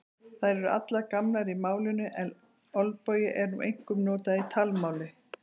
Þær eru allar gamlar í málinu en olbogi er nú einkum notað í talmáli.